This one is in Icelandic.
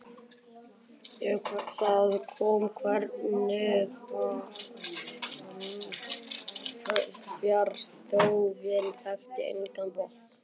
það kom þó hvergi fram: fjárþörfin þekkti engan botn.